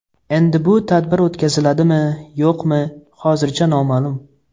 Endi bu tadbir o‘tkaziladimi-yo‘qmi, hozircha noma’lum.